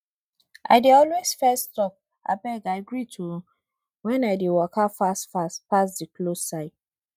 i dey always fess talk abeg i greet o when i dey waka fast fast pass the cloth side